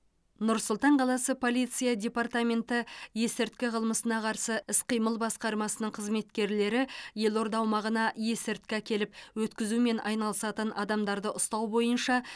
нұр сұлтан қаласы полиция департаменті есірткі қылмысына қарсы іс қимыл басқармасының қызметкерлері елорда аумағына есірткі әкеліп өткізумен айналысатын адамдарды ұстау бойынша